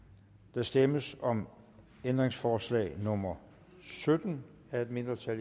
der stemmes om ændringsforslag nummer sytten af et mindretal